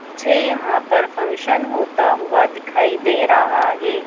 मुझे यहां पर फंक्शन होता हुआ दिखाई दे रहा है।